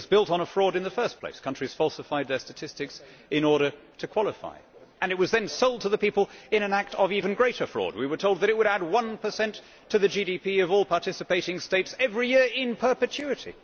The thing was built on a fraud in the first place, as countries falsified their statistics in order to qualify, and it was then sold to the people in an act of even greater fraud, as we were told that it would add 1 to the GDP of all participating states every year in perpetuity.